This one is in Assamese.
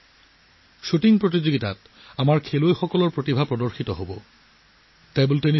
শ্বুটিঙত আমাৰ খেলুৱৈসকলৰ প্ৰতিভা পৰিস্ফুট হৈছে